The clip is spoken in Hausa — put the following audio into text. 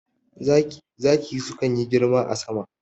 Zaki sukan yi girma a sama